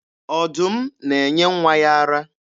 Ọdụm na-enye nwa ya ara.